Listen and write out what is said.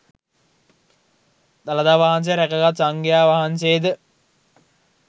දළදා වහන්සේ රැකගත් සංඝයා වහන්සේ ද